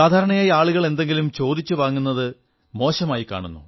സാധാരണയായി ആളുകൾ എന്തെങ്കിലും ചോദിച്ചു വാങ്ങുന്നത് മോശമായി കാണുന്നു